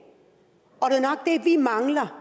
vi mangler